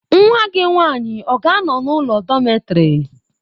Nwa gị nwany ị ọ ga-anọ n'ụlọ dọmetịrị?